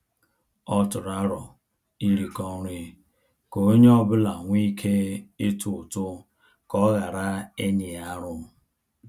Ọ tụrụ arọ iriko nri ka onye ọbula nwe ike ịtụ ụtụ ka ọ ghara inyi arụ